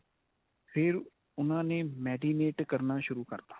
ਫੇਰ ਉਨ੍ਹਾ ਨੇ marinate ਕਰਨਾ ਸ਼ੁਰੂ ਕਰਤਾ.